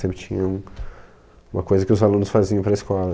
Sempre tinha um, uma coisa que os alunos faziam para a escola.